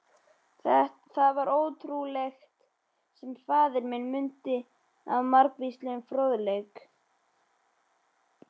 Það var ótrúlegt, sem faðir minn mundi af margvíslegum fróðleik.